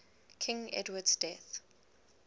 king edward's death